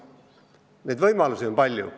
Neid võimalusi on palju.